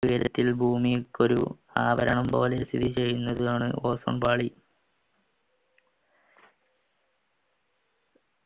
ഉയരത്തിൽ ഭൂമിയിൽക്കൊരു ആഭരണം പോലെ സ്ഥിതിചെയ്യുന്നതാണ് ozone പാളി